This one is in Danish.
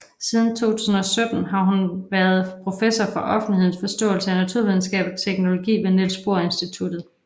Siden 2017 har hun også været professor for offentlighedens forståelse af naturvidenskab og teknologi ved Niels Bohr Institutet